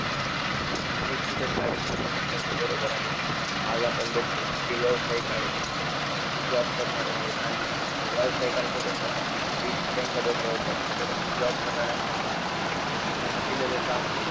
निश्चितच madam तुम्ही म्हणताय ते बरोबर आहे, आज आपण बघतो की जे व्यवसायिक आहेत, जे job करणारे आहेत आणि व्यावसायिकांच कसं असतं कि risk त्यांच्या डोक्यावरती असतं, परंतु job करणाऱ्यांसाठी कसं असतं कि फक्त त्यांना दिलेलं task